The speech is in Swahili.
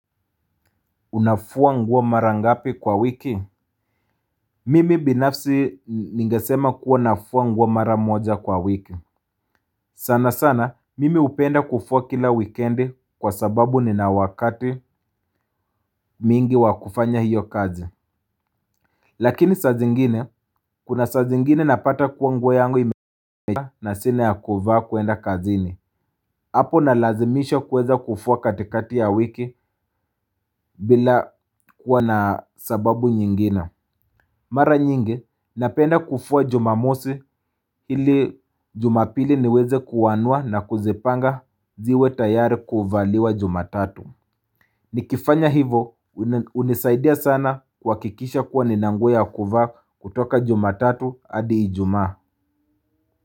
Unafua nguo mara ngapi kwa wiki? Mimi binafsi ningesema kuwa nafua nguo mara moja kwa wiki. Sana sana, mimi hupenda kufua kila wikendi kwa sababu nina wakati mwingi wa kufanya hiyo kazi. Lakini sa zingine kuna sa zingine napata kuwa nguo yangu imeja na sina ya kuvaa kuenda kazi ni apo na lazimisho kuweza kufua katikati ya wiki bila kuwa na sababu nyingina. Mara nyingi, napenda kufua jumamosi ili jumapili niweze kuanya na kuzipanga ziwe tayari kuvaliwa jumatatu. Nikifanya hivo, unisaidia sana kuwakikisha kuwa nina nguo ya kuvaa kutoka jumatatu adi ijuma.